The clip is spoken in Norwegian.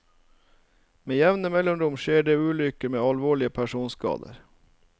Med jevne mellomrom skjer det ulykker med alvorlige personskader.